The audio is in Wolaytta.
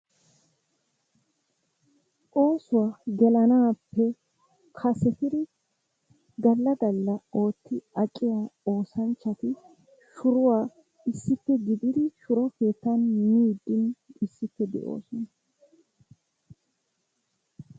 Oosuwaa gelanappe kasetidi galla galla ootti aqiya oosanchchati shuruwaa issippe gididi shuro keettan miiddi issippe de'oosona.